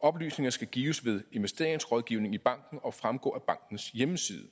oplysninger skal gives ved investeringsrådgivning i banken og fremgå af bankens hjemmeside